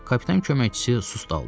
Kapitan köməkçisi susdaldı.